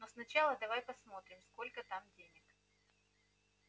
но сначала давай посмотрим сколько там денег